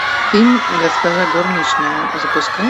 фильм госпожа горничная запускай